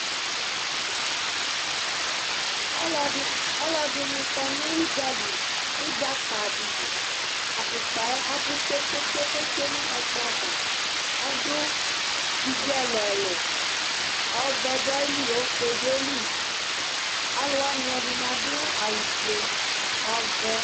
ɔlɔdi ɔlɔdini kɔnʋ ʋdzali, ʋdza ka dili, aƒʋkpaɛ abʋ kpekpekpe kʋ ɔtwɛ nʋ ɛkplɔ aɣa, ɔdʋ ivi ɛlʋɛlʋ ɔvɛ dʋaili, ɔƒʋɛ dʋaili, alʋ wani ɛdini adʋ awʋ ƒʋɛ, ɔvɛ